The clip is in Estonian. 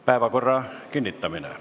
Päevakorra kinnitamine.